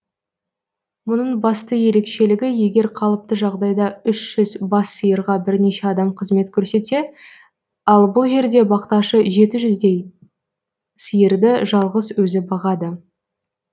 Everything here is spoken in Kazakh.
мұның басты ерекшелігі егер қалыпты жағдайда үш жүз бас сиырға бірнеше адам қызмет көрсетсе ал бұл жерде бақташы жеті жүздей сиырды жалғыз өзі бағады